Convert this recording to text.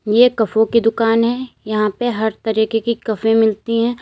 एक कफों की दुकान है यहां पर हर तरीके की कफे मिलती हैं।